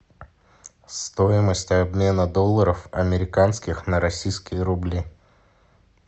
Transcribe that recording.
стоимость обмена долларов американских на российские рубли